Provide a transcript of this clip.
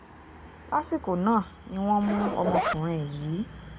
lásìkò náà ni wọ́n mú ọmọkùnrin yìí